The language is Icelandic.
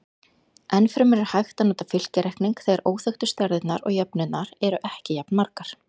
Enn fremur er hægt að nota fylkjareikning þegar óþekktu stærðirnar og jöfnurnar eru ekki jafnmargar.